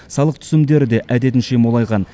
салық түсімдері де әдетінше молайған